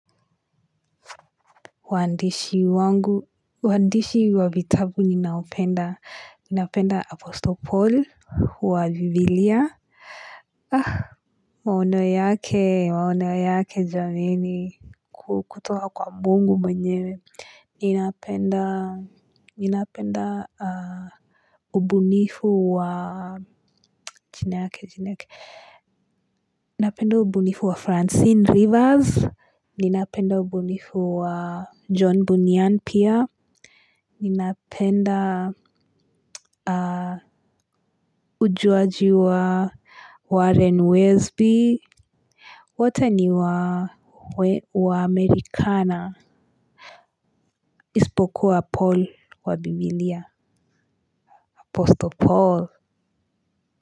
Waandishi wangu waandishi wa vitabu ninaopenda ninapenda aposto paul wa biblia ah maono yake maono yake jameni kutoka kwa mungu mwenyewe ninapenda ninapenda ubunifu wa jina yake jina yake ninapenda ubunifu wa francine rivers ninapenda ubunifu wa john bunian pia. Ninapenda ujuaji wa Warren Walesby. Wote ni waamerikana. Isipokuwa Paul wa bibilia Apostle Paul.